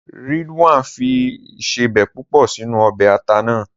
Ridwan fi ìsebẹ̀ púpọ̀ sínú ọbẹ̀ ata náà.